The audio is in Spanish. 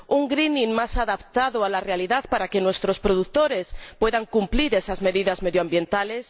un greening más adaptado a la realidad para que nuestros productores puedan cumplir esas medidas medioambientales